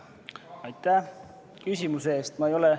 Aitäh küsimuse eest!